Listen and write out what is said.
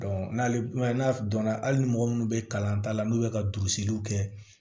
n'ale man n'a donna hali ni mɔgɔ minnu bɛ kalan ta la n'u ye ka bisikiw kɛ